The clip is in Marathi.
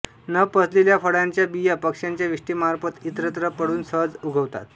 न पचलेल्या फळांच्या बिया पक्ष्यांच्या विष्ठेमार्फत इतरत्र पडून सहज उगवतात